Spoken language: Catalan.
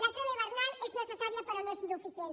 la treva hivernal és ne cessària però no és suficient